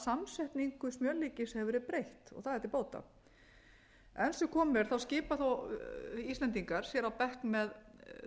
samsetningu smjörlíkis hefur verið breytt og það er til bóta enn sem komið er skipa íslendingar sér þó á bekk með